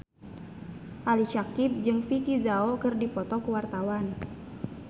Ali Syakieb jeung Vicki Zao keur dipoto ku wartawan